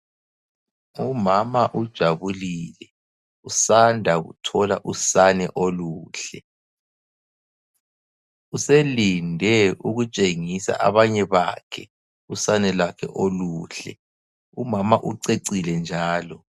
Umama ujabulile usanda kuthola usane oluhle. Uselinde ukutshengisa abanye bakhe usane lwakhe oluhle. Umama ucecile njalo.